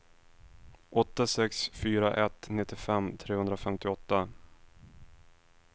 åtta sex fyra ett nittiofem trehundrafemtioåtta